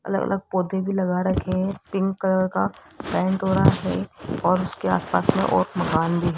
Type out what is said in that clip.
अलग अलग पौधे भी लगा रखे हैं पिंक कलर का पेंट हो रहा है और इसके आसपास में और मकान भी है।